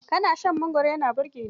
Ƙanshin mangwaro yana burge ni.